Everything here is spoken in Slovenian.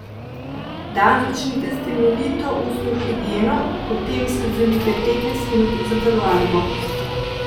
Dan začnite s temeljito ustno higieno, potem si vzemite petnajst minut za telovadbo.